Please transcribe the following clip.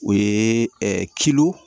O ye